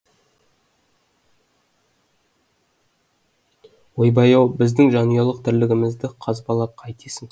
ойбай ау біздің жанұялық тірлігімізді қазбалап қайтесің